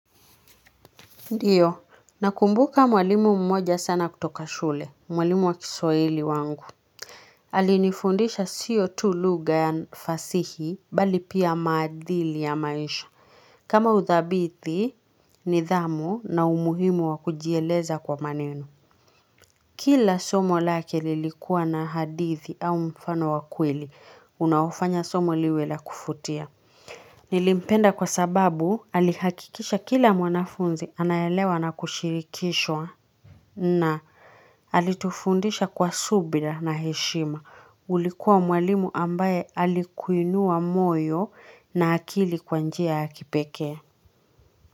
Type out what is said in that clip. Ndio, nakumbuka mwalimu mmoja sana kutoka shule, mwalimu wa kiswahili wangu. Alinifundisha sio tu lugha ya fasihi, mbali pia maadili ya maisha. Kama udhabiti, nidhamu na umuhimu wa kujieleza kwa maneno. Kila somo lake lilikuwa na hadithi au mfano wa kweli, unaofanya somo liwe la kuvutia. Nilimpenda kwa sababu, alihakikisha kila mwanafunzi anaelewa na kushirikishwa na alitufundisha kwa subira na heshima ulikuwa mwalimu ambaye alikuinua moyo, na akili kwa njia ya kipeke.